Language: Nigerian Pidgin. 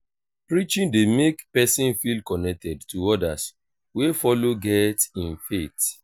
preaching dey mek pesin feel connected to odas wey follow get im faith.